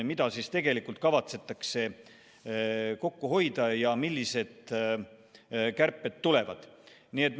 Mida tegelikult kavatsetakse kokku hoida ja millised kärped tulevad, on enamuses meile täna teadmata.